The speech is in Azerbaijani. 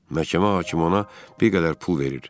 Məhkəmə hakimi ona bir qədər pul verir.